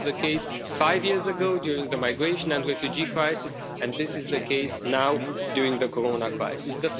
This was the case five years ago during the migration and refugee crisis, and this is the case now during the Corona crisis.